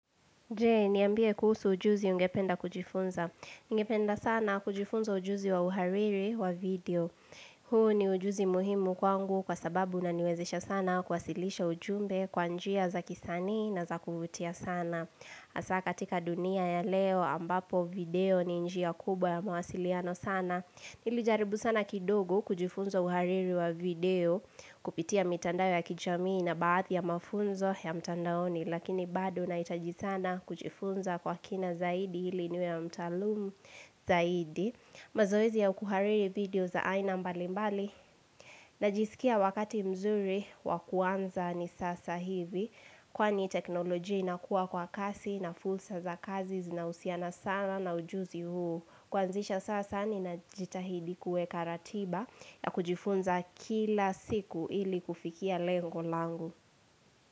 Je, niambie kuhusu ujuzi ungependa kujifunza. Ningependa sana kujifunza ujuzi wa uhariri wa video. Huu ni ujuzi muhimu kwangu kwa sababu unaniwezesha sana kwasilisha ujumbe kwa njia za kisani na za kuvutia sana. Hasaa katika dunia ya leo ambapo video ni njia kubwa ya mawasiliano sana. Nilijaribu sana kidogo kujifunza uhariri wa video kupitia mitandao ya kijamii na baadhi ya mafunzo ya mtandaoni. Lakini bado nahitaji sana kujifunza kwa kina zaidi ili niwe mtaalumu zaidi mazoezi ya kuhariri video za aina mbali mbali Najisikia wakati mzuri wa kuanza ni sasa hivi Kwani teknoloji ina kuwa kwa kasi na fursa za kazi zinahusiana sana na ujuzi huu Kwanzisha sasa ninajitahidi kueka ratiba ya kujifunza kila siku ili kufikia lengo langu.